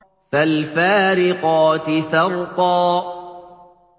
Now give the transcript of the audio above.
فَالْفَارِقَاتِ فَرْقًا